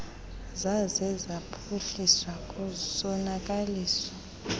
zaze zaphuhliswa kusonakaliswa